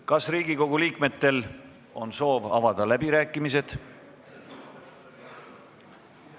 Kas Riigikogu liikmetel on soov avada läbirääkimised?